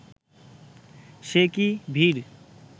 সে কী ভিড়